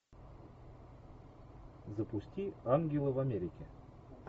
запусти ангелы в америке